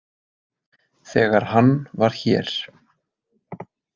Þegar hann var hér.